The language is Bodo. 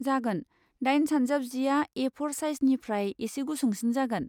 जागोन, दाइन सानजाब जिआ ए फ'र साइजनिफ्राय एसे गुसुंसिन जागोन।